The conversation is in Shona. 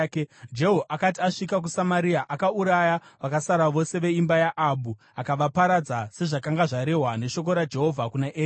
Jehu akati asvika kuSamaria, akauraya vakasara vose veimba yaAhabhu; akavaparadza, sezvakanga zvarehwa neshoko raJehovha kuna Eria.